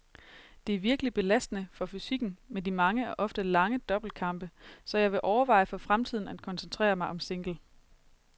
Det er virkelig belastende for fysikken med de mange og ofte lange double-kampe, så jeg vil overveje for fremtiden at koncentrere mig om single.